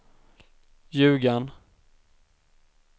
Ljugarn